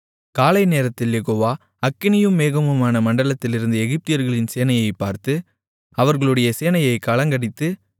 காலை நேரத்தில் யெகோவா அக்கினியும் மேகமுமான மண்டலத்திலிருந்து எகிப்தியர்களின் சேனையைப் பார்த்து அவர்களுடைய சேனையைக் கலங்கடித்து